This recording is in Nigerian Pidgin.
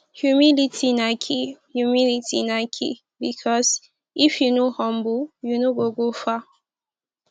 humility na key humility na key bikos if yu no humble yu no go go far